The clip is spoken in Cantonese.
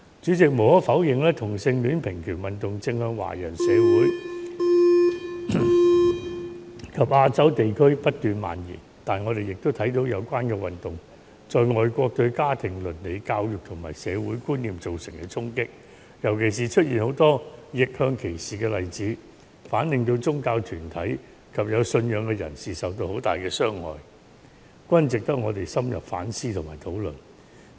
主席，無可否認，同性戀平權運動正向華人社會及亞洲地區不斷蔓延，但我也看到有關運動在外國對家庭倫理、教育及社會觀念造成的衝擊，尤其是出現許多逆向歧視的例子，反令到宗教團體及有信仰的人士受到很大的傷害，值得我們深入反思和討論。